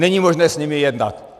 Není možné s nimi jednat.